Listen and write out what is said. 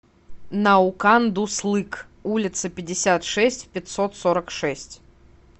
наукан дуслык улица пятьдесят шесть в пятьсот сорок шесть